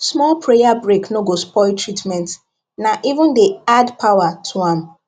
small prayer break no go spoil treatment na even dey add power to am